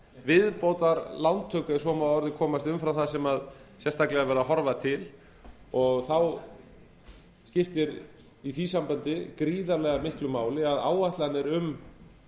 viðbótarlántöku ef svo má að orði komast umfram það sem er sérstaklega verið að horfa til og þá skiptir í því sambandi gríðarlega miklu máli að áætlanir um